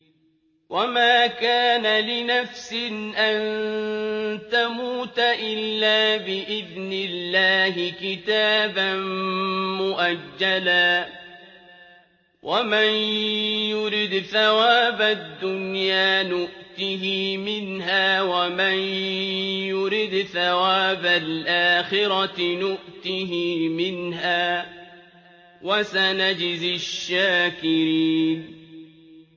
وَمَا كَانَ لِنَفْسٍ أَن تَمُوتَ إِلَّا بِإِذْنِ اللَّهِ كِتَابًا مُّؤَجَّلًا ۗ وَمَن يُرِدْ ثَوَابَ الدُّنْيَا نُؤْتِهِ مِنْهَا وَمَن يُرِدْ ثَوَابَ الْآخِرَةِ نُؤْتِهِ مِنْهَا ۚ وَسَنَجْزِي الشَّاكِرِينَ